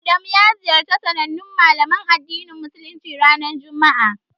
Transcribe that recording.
Adamu ya ziyarci sanannen Malamin addinin Musuluncin, ranar juma'a.